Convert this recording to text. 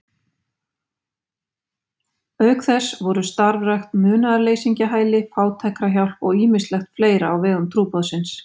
Auk þess voru starfrækt munaðarleysingjahæli, fátækrahjálp og ýmislegt fleira á vegum trúboðsins.